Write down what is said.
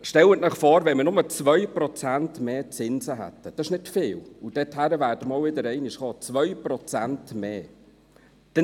Stellen Sie sich vor, wir hätten bloss 2 Prozent mehr Zinsen.